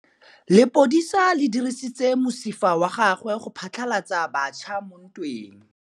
Lepodisa le dirisitse mosifa wa gagwe go phatlalatsa batšha mo ntweng.